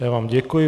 Já vám děkuji.